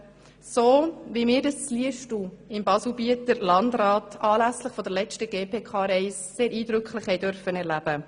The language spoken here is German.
So, wie wir dies in Liestal im Baselbieter Landrat anlässlich der letzten GPK-Reise sehr eindrück lich erleben durften.